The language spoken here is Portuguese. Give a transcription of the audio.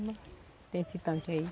Tem esse tanque aí.